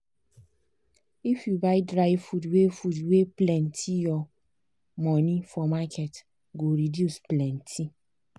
if you buy dry food wey food wey plenty your money for market go reduce plenty.